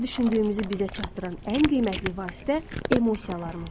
Nə düşündüyümüzü bizə çatdıran ən qiymətli vasitə emosiyalarımızdır.